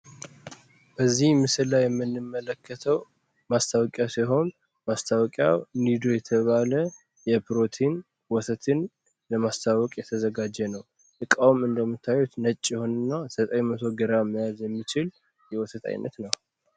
እዚህ ምስል ላይ የምንመለከተው ማስታወቂያ ሲሆን ማስታወቂያ የተባለ የፕሮቲን ውሰትን ለማስታወቅ የተዘጋ ነው እንደምታዩት ነች ይሆንና 900 ግራም መያዝ የሚችል ነው